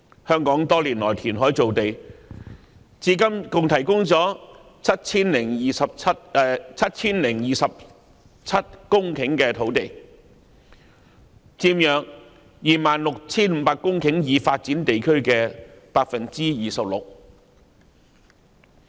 香港多年來填海造地，至今共提供了 7,027 公頃土地，佔約 26,500 公頃已發展地區的 26%。